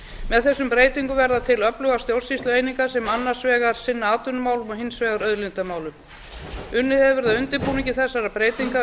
með þessum breytingum verða til öflugar stjórnsýslueiningar sem annars vegar sinna atvinnumálum og hins vegar auðlindamálum unnið hefur verið að undirbúningi þessara breytinga